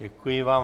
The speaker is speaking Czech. Děkuji vám.